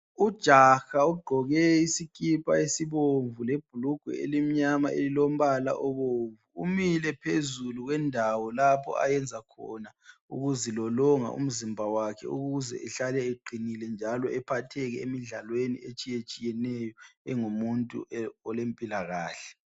Ujaha ugqoke iskipha esibomvu lebhlugwe elimnyama elilombala obomvu, umile phezulu kwendawo lapho ayenza khona ukuzilolonga umzimba wakhe ukuze ehlale eqinile njalo ephatheke emidlalweni etshiyatshiyeneyo engumuntu olempilakahle